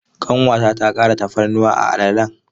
Ƙanwata ta ƙara tafarnuwa a alalen.